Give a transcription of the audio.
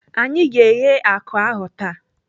Anyị ga-eghe akụ ahụ taa.